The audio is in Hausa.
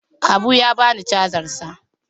Habu ya bani cajar sa.